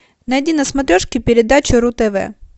найди на смотрешке передачу ру тв